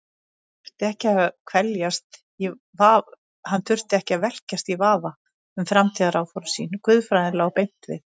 Hann þurfti ekki að velkjast í vafa um framtíðaráform sín, guðfræðin lá beint við.